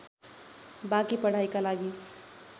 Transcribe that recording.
बाँकी पढाइका लागि